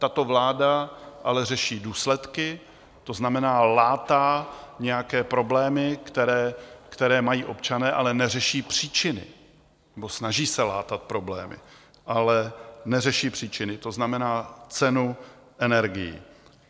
Tato vláda ale řeší důsledky, to znamená, látá nějaké problémy, které mají občané, ale neřeší příčiny, nebo snaží se látat problémy, ale neřeší příčiny, to znamená cenu energií.